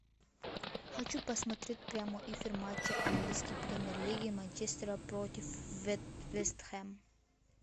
хочу посмотреть прямой эфир матча английской премьер лиги манчестера против вест хэм